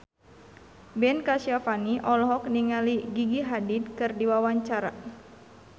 Ben Kasyafani olohok ningali Gigi Hadid keur diwawancara